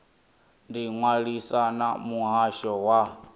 ḓi ṅwalisa na muhasho wa